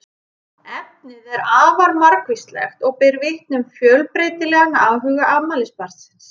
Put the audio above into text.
Efnið er afar margvíslegt og ber vitni um fjölbreytilegan áhuga afmælisbarnsins.